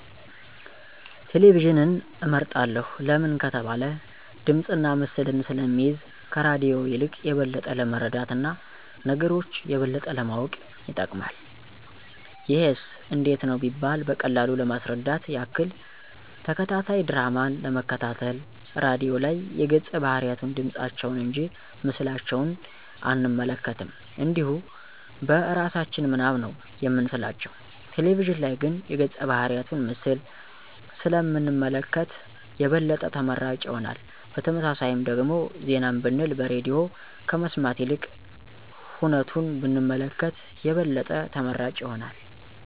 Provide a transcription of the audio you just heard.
ቴሌቪዥንን እመርጣለሁ ለምን ከተባለ ድምፅና ምስልን ስለሚይዝ ከራድዮ የልቅ የበለጠ ለመረዳት እና ነገሮች የበለጠ ለማወቅ ይጠቅማል። ይሄስ እንዴት ነው ቢባል በቀላሉ ለማስረዳት ያክል፦ ተከታታይ ድራማን ለመከታተል ራድዮ ላይ የገፀ ባህርያቱን ድምፃቸውን እንጂ ምስላቸውን አንመለከትም እንዲሁ በእራሳችን ምናብ ነው የምንስላቸው፤ ቴሌቪዥን ላይ ግን የገፀ ባህርያቱን ምስል ስለ ምንመለከት የበለጠ ተመራጭ ይሆናል። በተመሳሳይም ደግሞ ዜናንም ብንል በሬድዮ ከመስማት ይልቅ ሁነቱን ብንመለከት የበለጠ ተመራጭ ይሆናል።